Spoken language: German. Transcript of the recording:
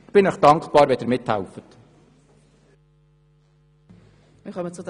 Ich bin Ihnen dankbar, wenn Sie mithelfen.